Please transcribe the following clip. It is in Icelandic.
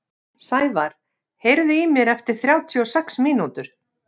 Sævar, heyrðu í mér eftir þrjátíu og sex mínútur.